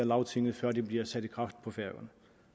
lagtinget før de bliver sat i kraft på færøerne